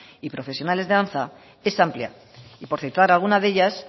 y profesionales de danza es amplia y por citar alguna de ellas